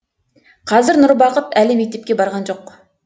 қазір нұрбақыт әлі мектепке барған жоқ